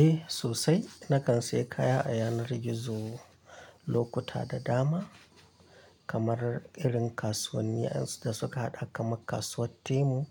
Eh sosai, na kan sayi kaya a yanar gizo lokuta da dama kamar irin kasuwannin da suka haɗa kamar kasuwar Temu